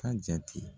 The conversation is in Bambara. Ka jate